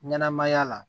Ɲɛnɛmaya la